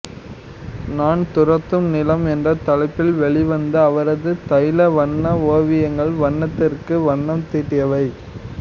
நான் துரத்தும் நிலம் என்ற தலைப்பில் வெளிவந்த அவரது தைல வண்ண ஓவியங்கள் வண்ணத்திற்கு வண்ணம் தீட்டுயவை